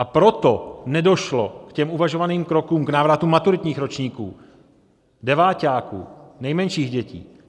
A proto nedošlo k těm uvažovaným krokům - k návratu maturitních ročníků, deváťáků, nejmenších dětí.